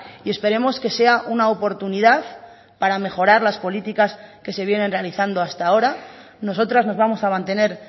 y esperemos que sea una oportunidad para mejorar las políticas que se vienen realizando hasta ahora nosotras nos vamos a mantener